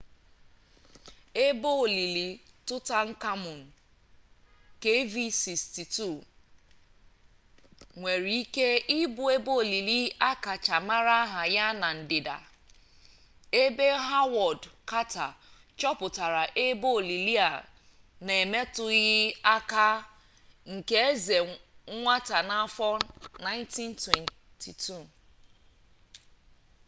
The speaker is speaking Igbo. ebe olili tụtankamun kv62. kv62 nwere ike ịbụ ebe olili akacha mara aha ya na-ndịda ebe hawọd kata chọpụtara ebe olili a na emetụghị aka nke eze nwata n'afọ 1922